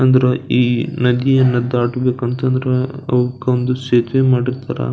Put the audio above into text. ಅಂದ್ರ ಈ ನದಿಯನ್ನ ದಾಟಬೇಕು ಅಂತಂದ್ರ ಅವುಕ್ಕೆ ಒಂದು ಸೇತುವೆ ಮಾಡಿರ್ತಾರ .